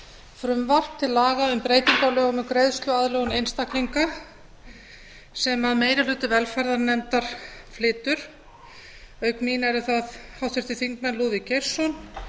frumvarp til laga um um breytingu á lögum um greiðsluaðlögun einstaklinga sem meiri hluti velferðarnefndar flytur auk mín eru það háttvirtir þingmenn lúðvík geirsson